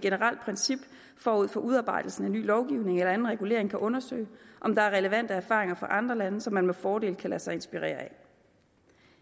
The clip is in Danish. generelt princip forud for udarbejdelsen af en ny lovgivning eller anden regulering bør undersøge om der er relevante erfaringer fra andre lande som man med fordel kan lade sig inspirere af